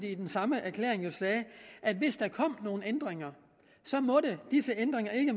i den samme erklæring sagde at hvis der kom nogle ændringer måtte disse ændringer ikke